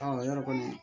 yɔrɔ kɔni